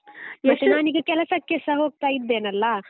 ನಾನೀಗ ಕೆಲಸಕ್ಕೆಸ ಹೋಗ್ತಾ ಇದ್ದೇನಲ್ಲ?